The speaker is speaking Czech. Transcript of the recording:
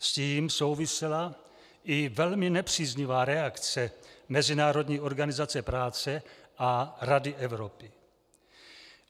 S tím souvisela i velmi nepříznivá reakce Mezinárodní organizace práce a Rady Evropy.